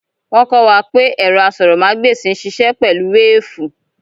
Wọ́n kọ́ wa pé ẹ̀rọ asọ̀rọ̀mágbèsì ń sisẹ́ pẹ̀lú wéfùù